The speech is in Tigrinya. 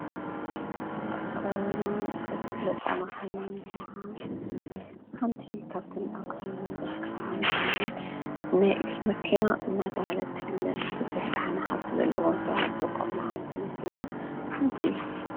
ኣብ ከባቢና ካብ ዝፍለጣ መካይን ሓንቲ እያ ።ሓንቲ ካብቲ ኣብ ከባቢና ዝርከባ መካይን ናይ እግሪ መኪና እንዳተበሃለት ትፍለጥ። ብዙሕ ዳሕና ሃፍቲ ዘለዎም ሰባት ዝጥቀሙላ ዓይነት መኪና ሓንቲ እያ።